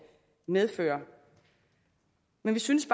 medfører men vi synes